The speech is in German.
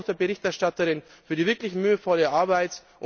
Danke auch der Berichterstatterin für die wirklich mühevolle Arbeit!